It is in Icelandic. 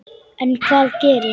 En hvað gerist.